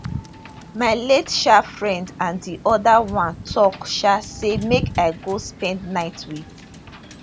my late um friend and di oda one tok um say make i go spend night wit